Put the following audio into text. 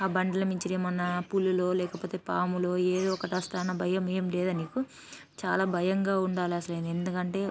ఆ బండ్ల మీద నుంచి పూలు లో లేకపోతె పాములో ఏవో ఒకటి వస్తాయన్న భయం ఎం లేదా నీకు చాలా భయంగ ఉండాలంటే ఎందుకంటే--